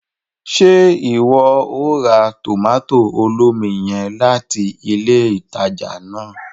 Ṣe iwọ o ra tomato olómi yen latí ilé ìtàjà náà?